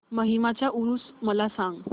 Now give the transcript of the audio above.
माहीमचा ऊरुस मला सांग